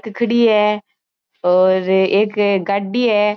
खड़ी है और एक गाड़ी है।